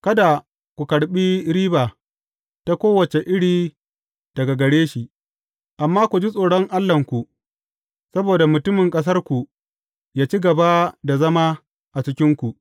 Kada ku karɓi riba ta kowace iri daga gare shi, amma ku ji tsoron Allahnku, saboda mutumin ƙasarku yă ci gaba da zama a cikinku.